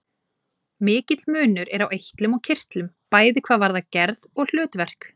Mikill munur er á eitlum og kirtlum, bæði hvað varðar gerð og hlutverk.